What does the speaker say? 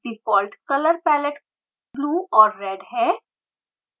default colour palette blue और red है